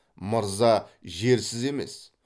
мырза жерсіз емес